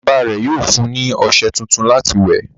Bàbá rẹ̀ yóò fún ní ọṣẹ tuntun láti wẹ̀.